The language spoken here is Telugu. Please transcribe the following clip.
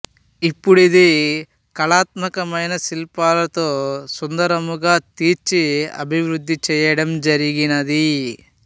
ఇప్పుడిది కలాత్మకమైన శిళ్పాలతో సుందరముగా తీర్చి అభివృద్ధి చేయడం జరిగినది